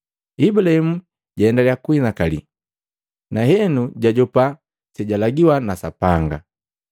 Ibulahimu jwalendaliya kukuhinakali. Na henu jajopa sejalagiwa na Sapanga.